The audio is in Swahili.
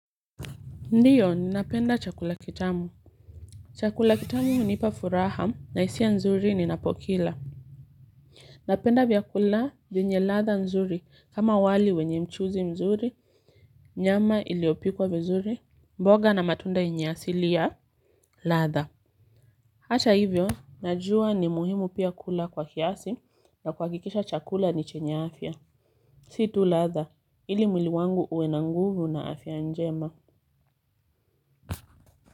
Ndiyo ninapenda chakula kitamu. Chakula kitamu hunipa furaha na hisia nzuri ninapokila. Napenda vyakula vyenye ladha nzuri, kama wali wenye mchuzi mzuri. Nyama iliyopikwa vizuri, mboga na matunda yenye asili ya ladha. Hata hivyo, najua ni muhimu pia kula kwa kiasi na kuhakikisha chakula ni chenya afya. Si tu ladha. Ili mwili wangu uwe na nguvu na afya njema.